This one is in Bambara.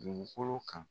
Dugukolo kan